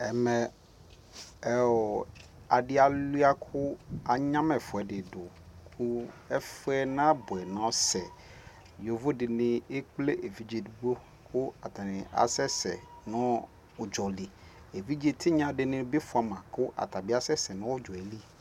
Ɛmɛ ɔɔ adi alu ya ku anya ma ɛfuɛ di du ku ɛfuɛ na buɛ nɔ sɛ Yovo dini ɛkple evidze digbo ku aɛsɛ nu udzɔ liƐvidze tinya gi bi fua ma ku ata bi asɛsɛ nu udzɔ yɛ li